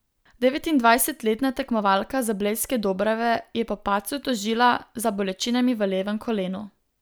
Devetindvajsetletna tekmovalka z Blejske Dobrave je po padcu tožila za bolečinami v levem kolenu.